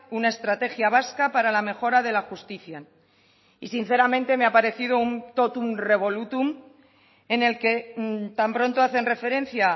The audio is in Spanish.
una estrategia vasca para la mejora de la justicia y sinceramente me ha aparecido un totum revolutum en el que tan pronto hacen referencia